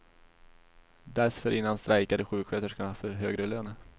Dessförinnan strejkade sjuksköterskorna för högre lön.